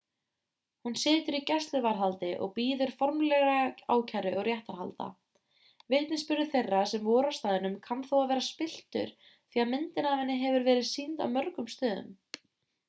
hún situr í gæsluvarðhaldi og bíður formlegrar ákæru og réttarhalda vitnisburður þeirra sem voru á staðnum kann þó að vera spilltur því að myndin af henni hefur verið sýnd á mörgum stöðum